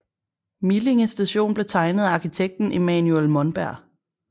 Millinge station blev tegnet af arkitekten Emanuel Monberg